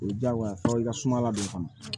O ye diyagoya ye fɔ i ka suma ladon fana